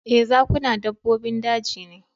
Ee, zakuna dabbobin daji ne